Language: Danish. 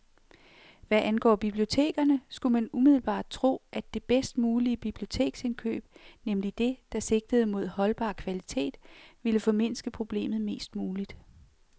Hvad angår bibliotekerne, skulle man umiddelbart tro, at det bedst mulige biblioteksindkøb, nemlig det, der sigtede mod holdbar kvalitet, ville formindske problemet mest muligt.